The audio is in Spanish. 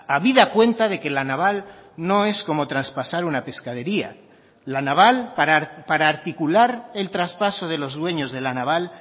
habida cuenta de que la naval no es como traspasar una pescadería la naval para articular el traspaso de los dueños de la naval